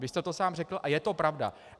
Vy jste to sám řekl a je to pravda.